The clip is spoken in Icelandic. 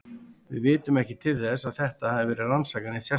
Við vitum ekki til þess að þetta hafi verið rannsakað neitt sérstaklega.